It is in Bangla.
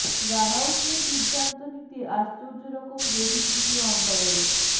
রান আউট নিয়ে সিদ্ধান্ত নিতে আশ্চর্যরকম দেরি তৃতীয় আম্পায়ারের